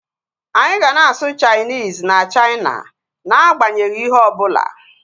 Anyị ga na-asụ Chainis na Chaina na agbanyeghi ihe ọbụla